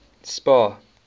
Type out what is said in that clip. spar